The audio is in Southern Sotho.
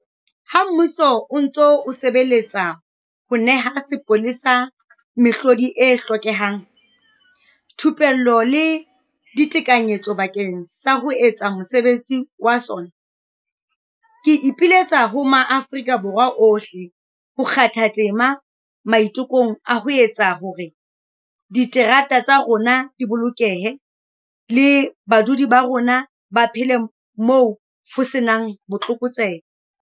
Ha mmuso o ntse o sebeletsa ho neha sepolesa mehlodi e hlokehang, thupello le ditekanyetso bakeng sa ho etsa mosebetsi wa sona, Ke ipiletsa ho maAfrika Borwa ohle ho kgatha tema maitekong a ho etsa hore diterata tsa rona di bolokehe le badudi ba rona ba phele moo ho se nang botlokotsebe.